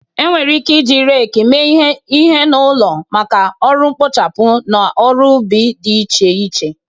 Enwere ike iji rake mee ihe n'ụlọ maka ọrụ mkpochapụ na ọrụ ubi dị iche iche.